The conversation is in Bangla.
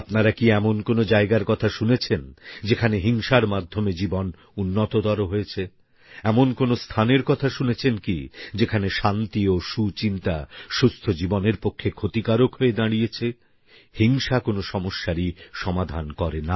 আপনারা কি এমন কোন জায়গার কথা শুনেছেন যেখানে হিংসার মাধ্যমে জীবন উন্নততর হয়েছে এমন কোন স্থানের কথা শুনেছেন কি যেখানে শান্তি ও সুচিন্তা সুস্থ জীবনের পক্ষে ক্ষতিকারক হয়ে দাঁড়িয়েছে হিংসা কোন সমস্যারই সমাধান করে না